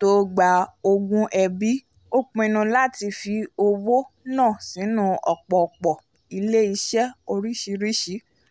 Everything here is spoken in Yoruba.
tó gba ogún ẹbí ó pinnu láti fi owó náà sínú ọ̀pọ̀pọ̀ ilé-iṣẹ́ oríṣìíríṣìí